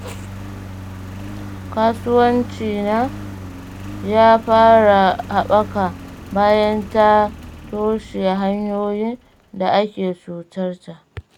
Kasuwancinta ya fara haɓaka, bayan ta toshe hanyoyin da ake cutar ta.